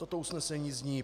Toto usnesení zní: